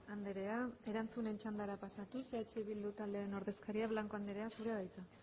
andrea erantzunen txandara pasatuz eh bildu taldearen ordezkaria blanco andrea zurea da hitza